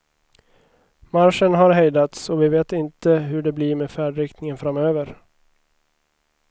Marschen har hejdats, och vi vet inte hur det blir med färdriktningen framöver.